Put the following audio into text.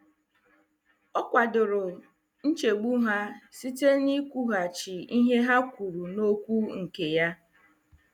Ọ kwadoro nchegbu ha site n'ịkwughachi ihe ha kwuru n'okwu nke ya.